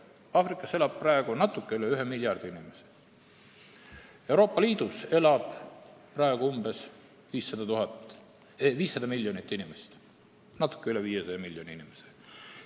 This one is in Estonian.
Aafrikas elab praegu natuke üle 1 miljardi inimese, samal ajal kui Euroopa Liidus elab natuke üle 500 miljoni inimese.